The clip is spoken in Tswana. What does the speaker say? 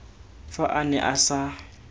fa a ne a sa